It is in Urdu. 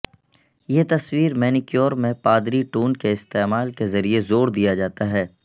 یہ تصویر مینیکیور میں پادری ٹون کے استعمال کے ذریعے زور دیا جاتا ہے